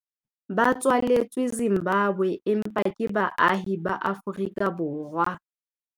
Ba tswaletswe Zimbabwe empa ke baahi ba Aforika-borwa.